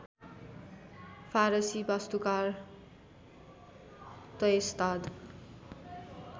फारसी वास्तुकार त्यस्ताद